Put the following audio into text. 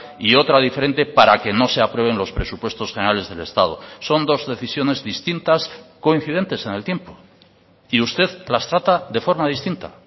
y otra diferente para que no se aprueben los presupuestos generales del estado son dos decisiones distintas coincidentes en el tiempo y usted las trata de forma distinta